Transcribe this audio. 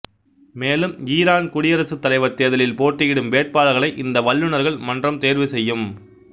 மேலும் ஈரான் குடியரசுத் தலைவர் தேர்தலில் போட்டியிடும் வேட்பாளர்களை இந்த வல்லுநர்கள் மன்றம் தேர்வு செய்யும்